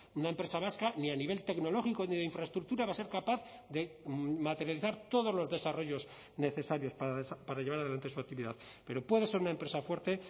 una empresa vasca ni a nivel tecnológico ni de infraestructura va a ser capaz de materializar todos los desarrollos necesarios para llevar adelante su actividad pero puede ser una empresa fuerte